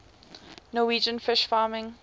norwegian fish farming